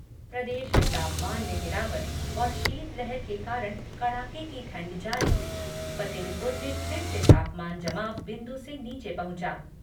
प्रदेश में तापमान में गिरावट और शीतलहर के कारण कड़ाके की ठंड जारी, फतेहपुर में फिर से तापमान जमाव बिंदु से नीचे पहुँचा